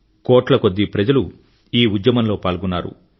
కోట్ల కొద్దీ ప్రజలు ఈ ఉద్యమంలో పాల్గొన్నారు